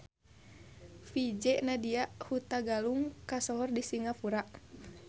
VJ Nadia Hutagalung kasohor di Singapura